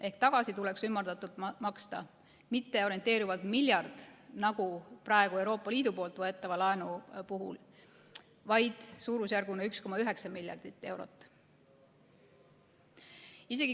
Ehk tagasi tuleks ümardatult maksta mitte orienteeruvalt miljard nagu praegu Euroopa Liidu võetava laenu puhul, vaid suurusjärguna 1,9 miljardit eurot.